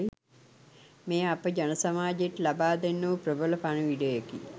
මෙය අප ජනසමාජයට ලබාදෙන්නා වූ ප්‍රබල පණිවිඩයකි.